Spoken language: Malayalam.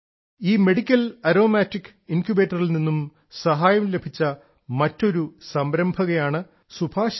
ഈ മെഡിക്കൽ ആരോമാറ്റിക് പ്ലാന്റ് ഇൻക്യുബേറ്ററിൽ നിന്നും സഹായം ലഭിച്ച മറ്റൊരു സംരംഭകയാണ് ശ്രീമതി സുഭശ്രീ